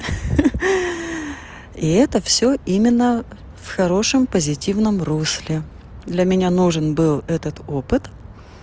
ха-ха и это все именно в хорошем позитивном русле для меня нужен был этот опыт